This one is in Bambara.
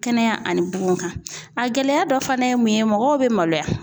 Kɛnɛya ani bugukan a gɛlɛya dɔ fana ye mun ye mɔgɔw bi maloya.